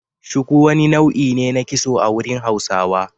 Shuku wani nau'i ne na kitso a wurin Hausawa.